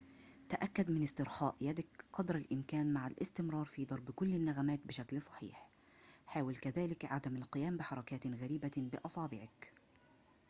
تأكد من استرخاء يدك قدر الإمكان مع الاستمرار في ضرب كل النغمات بشكل صحيح حاول كذلك عدم القيام بحركاتٍ غريبةٍ بأصابعك